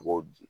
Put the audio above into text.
U b'o di